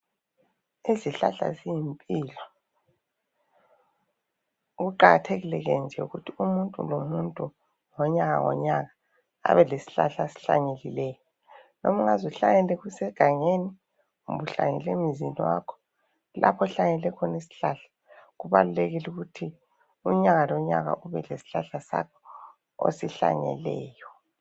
Izihlahla ziyimpilo okuqakathekileyo nje yikuthi umuntu lomuntu ngonyaka ngonyaka abe lesihlahla asihlanyelileyo. Loba ungaze uhlanyele kusegangeni kumbe uhlanyela emzini wakho lapho ohlanyele khona Isihlahla, kubalulekile ukuthi unyaka lonyaka ube lesihlahla sakho osihlanyeleyo.